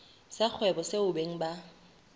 sa kgwebo seo beng ba